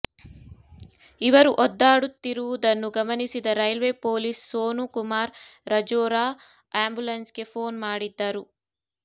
ಇವರು ಒದ್ದಾಡುತ್ತಿರುವುದನ್ನು ಗಮನಿಸಿದ railway police Sonu Kumar Rajora ambulance ಗೆ ಫೋನ್ ಮಾಡಿದ್ದರು